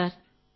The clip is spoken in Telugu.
అవును సార్